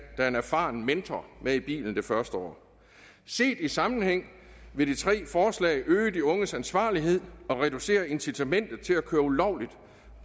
er en erfaren mentor med i bilen det første år set i sammenhæng vil de tre forslag øge de unges ansvarlighed og reducere incitamentet til at køre ulovligt